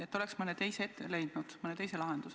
Et oleks mõne teise lahenduse leidnud?